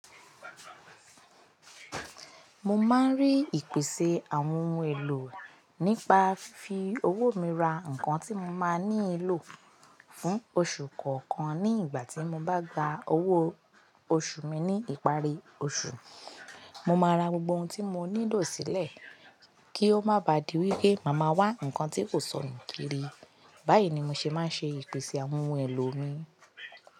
Mo máa ń rí ìpèsè àwọn ohun èlò nípa fifi owó mi ra nǹkan tí mo máa nílò fún oṣù kọ̀ọ̀kan ní ìgbà tí mo bá gba owó oṣù mi ní ìparí oṣù. Mo máa ra gbogbo ohun tí mo nílò sílẹ̀ kí ó má ba di wípé màá ma wá ǹkan tí kò sónu kiri. Báyìí ni mi ṣe máa ń ṣe ìpèsè àwọn ohun èlò mi.